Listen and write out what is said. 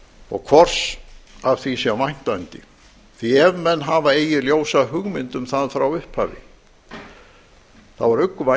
og hvors af því sé væntanda því ef menn hafa eigi ljósa hugmynd um það frá upphafi þá er